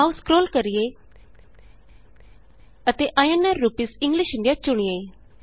ਆਉ ਸਕਰੋਲ ਕਰੀਏ ਅਤੇ ਆਈਐਨਆਰ ਰੂਪੀਸ ਇੰਗਲਿਸ਼ ਇੰਡੀਆ ਚੁਣੀਏ